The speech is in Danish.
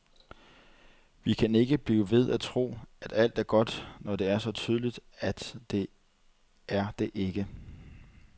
Vi kan ikke blive ved at tro, at alt er godt, når det er så tydeligt, at det er det ikke.